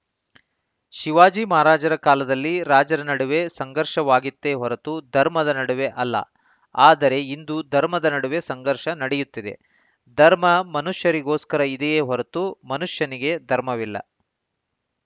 ಶಿವಾಜಿ ಮಹಾರಾಜರ ಕಾಲದಲ್ಲಿ ರಾಜರ ನಡುವೆ ಸಂಘರ್ಷವಾಗಿತ್ತೇ ಹೊರತು ಧರ್ಮದ ನಡುವೆ ಅಲ್ಲ ಆದರೆ ಇಂದು ಧರ್ಮದ ನಡುವೆ ಸಂಘರ್ಷ ನಡೆಯುತ್ತಿದೆ ಧರ್ಮ ಮನುಷ್ಯರಿಗೋಸ್ಕರ ಇದೆಯೇ ಹೊರತು ಮನುಷ್ಯನಿಗೆ ಧರ್ಮವಿಲ್ಲ